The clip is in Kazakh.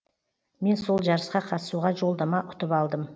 мен сол жарысқа қатысуға жолдама ұтып алдым